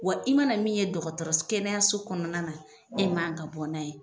Wa i mana min ye dɔgɔtɔrɔ kɛnɛyaso kɔnɔna na e man ka bɔ n'a ye .